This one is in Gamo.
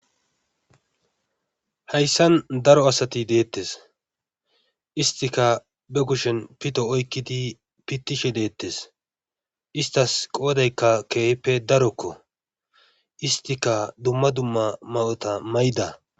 Hayssan daro asati deettes istika be kushen pito oykkidi pittishe deettes istas qoodaykka keehippe darokko istika dumma dumma ma7ota ma7ida.